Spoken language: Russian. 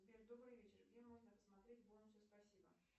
сбер добрый вечер где можно посмотреть бонусы спасибо